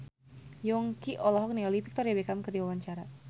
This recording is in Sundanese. Yongki olohok ningali Victoria Beckham keur diwawancara